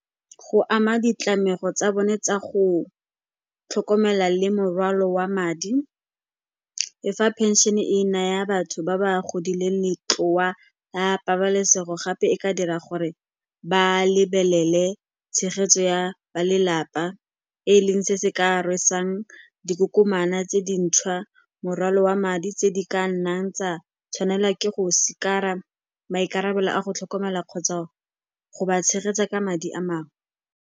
Go ama ditlamego tsa bone tsa go tlhokomela le morwalo wa madi, e fa pension-e e naya batho ba ba godileng letloa la pabalesego, gape e ka dira gore ba lebelele tshegetso ya balelapa, e leng se se ka rwesang dikokomana tse dintšhwa morwalo wa madi tse di ka nnang tsa tshwanelwa ke go sikara maikarabelo a go tlhokomela kgotsa go ba tshegetsa ka madi a mangwe.